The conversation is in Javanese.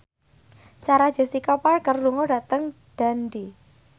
Sarah Jessica Parker lunga dhateng Dundee